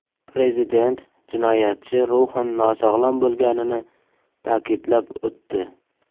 Prezident jinoyatchi ruhan nosog‘lom bo‘lganini ta’kidlab o‘tdi.